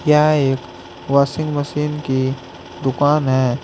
यह एक washing machine की दुकान है।